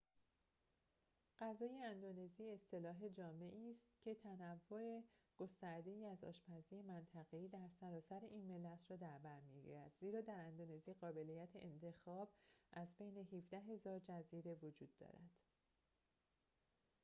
غذای اندونزی اصطلاح جامعی است که تنوع گسترده‌ای از آشپزی منطقه‌ای در سراسر این ملت را در برمی‌گیرد زیرا در اندونزی قابلیت انتخاب از بین ۱۷,۰۰۰ جزیره وجود دارد